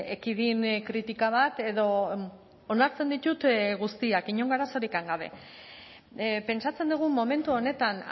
ekidin kritika bat edo onartzen ditut guztiak inongo arazorikan gabe pentsatzen dugu momentu honetan